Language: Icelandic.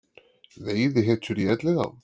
Veiðihetjur í Elliðaám